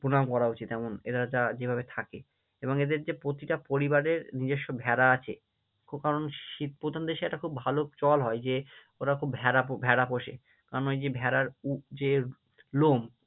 প্রণাম করা উচিত এমন এদের যারা যেভাবে থাকে এবং এদের যে প্রতিটা পরিবারের নিজস্ব ভেড়া আছে কারণ শীত প্রধান দেশে একটা খুব ভালো চল হয় যে ওরা খুব ভেড়া ভেড়া পোষে, কারণ ওই যে ভেড়ার যে লোম